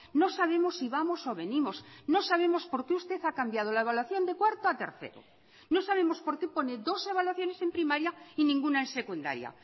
no sabemos si vamos o venimos no sabemos por qué usted ha cambiado la evaluación de cuarto a tercero no sabemos por qué pone dos evaluaciones en primaria y ninguna en secundaria